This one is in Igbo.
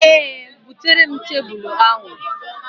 Ee, bụtere m tebụl ahụ.